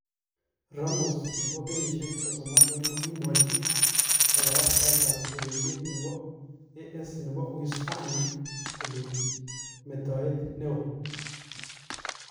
Ramos, 32, kokimwachi kabarastaet ab ureriet nebo AS nebo Uhispania :" metoet neon "